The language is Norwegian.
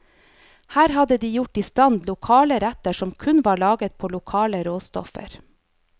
Her hadde de gjort istand lokale retter som kun var laget på lokale råstoffer.